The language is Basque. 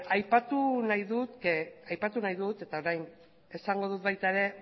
aipatu nahi dut eta orain esango dut baita ere